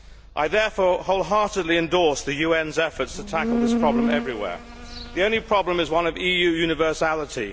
I therefore wholeheartedly endorse the UN's efforts to tackle this problem everywhere. The only problem is one of EU universality.